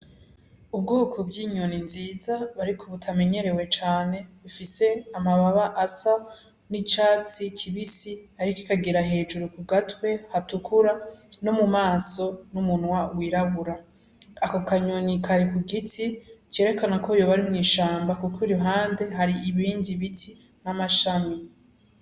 Ubwoko by'inyoni nziza bariko butamenyerewe cane bifise amababa asa n'icatsi kibisi, ariko ikagira hejuru ku gatwe hatukura no mu maso n'umunwa wirabura ako kanyoni kari ku giti cerekana ko yo bari mw'ishamba, kuko i ruhande hari ibindi biti n'amashami.